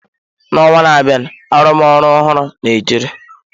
N'ọnwa na-abịa, arụmọrụ ọhụrụ na-echere.